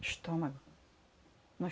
estômago.